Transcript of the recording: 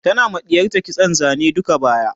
tana ma ɗiyarta kitson Zane duka baya